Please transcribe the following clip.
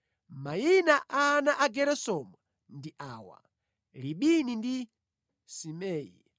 Mayina a ana a Geresomu ndi awa: Libini ndi Simei.